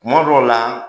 Kuma dɔw la